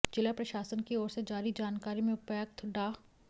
जिला प्रशासन की ओर से जारी जानकारी में उपायुक्त डा